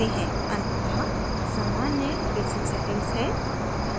अंततः सामान्य basic settings हैं